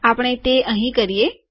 આપણે તે અહીં કરીએ